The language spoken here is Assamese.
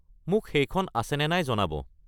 মোক সেইখন আছে নে নাই জনাব।